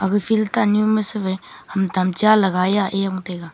aga field tanyu mesu wai ham tamcha lagai e taiga.